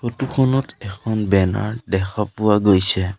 ফটোখনত এখন বেনাৰ দেখা পোৱা গৈছে।